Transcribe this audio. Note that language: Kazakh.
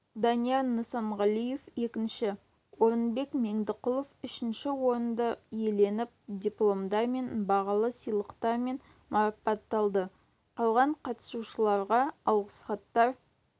данияр нысанғалиев екінші орынбек меңдіқұлов үшінші орынды иеленіп дипломдармен бағалы сыйлықтармен марапатталды қалған қатысушыларға алғысхаттар